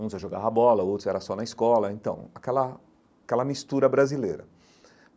Uns eu jogavam bola, outros eram só na escola, então aquela aquela mistura brasileira.